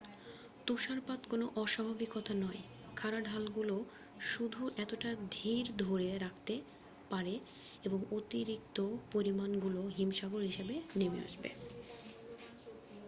তুষারপাত কোন অস্বাভাবিকতা নয় খাড়া ঢালগুলো শুধু এতটা ধীর ধরে রাখতে পারে এবং অতিরিক্ত পরিমাণগুলো হিমসাগর হিসাবে নেমে আসবে